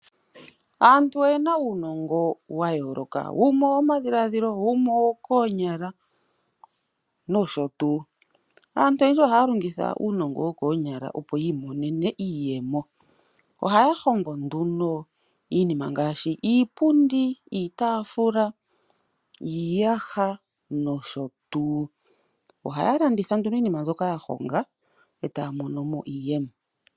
Aantu oyena nuunongo wa yoloka wumwe owo madhiladhilo wumwe owo konyala noshotuu aantu oyendji ohaya longitha uunongo woo konyala opo yi monene iiyemo, ohaya hongo nduno iinima ngaashi iipundi, iitafula, iiyaha noshotuu. Ohaya landitha nduuno iinima mbyoka yahonga eta ya monomo iiyemo.